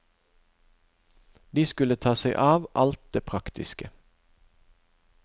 De skulle ta seg av alt det praktiske.